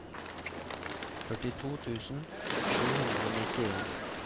førtito tusen sju hundre og nittien